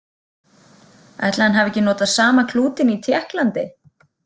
Ætli hann hafi ekki notað sama klútinn í Tékklandi?